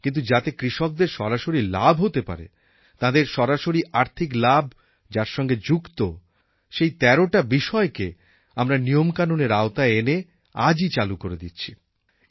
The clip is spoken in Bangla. কিন্তু যাতে কৃষকদের সরাসরি লাভ হতে পারে তাঁদের সরাসরি আর্থিক লাভ যার সঙ্গে যুক্ত সেই তেরটা বিষয়কে আমরা নিয়মকানুনের আওতায় এনে আজই চালু করে দিচ্ছি